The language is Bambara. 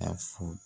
A fɔ